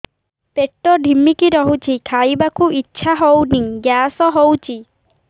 ପେଟ ଢିମିକି ରହୁଛି ଖାଇବାକୁ ଇଛା ହଉନି ଗ୍ୟାସ ହଉଚି